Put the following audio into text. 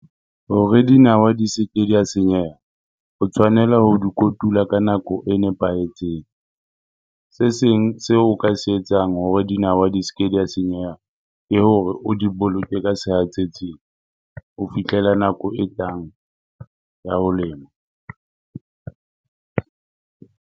Hore dinawa di se ke di a senyeha, o tshwanela ho di kotula ka nako e nepahetseng. Se seng seo o ka se etsang hore dinawa di se ke di a senyeha, ke hore o di boloke ka sehatsetsing ho fihlela nako e tlang ya ho lema.